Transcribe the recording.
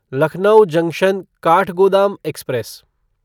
Lucknow junction Kathgodam express